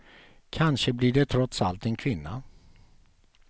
Kanske blir det trots allt en kvinna.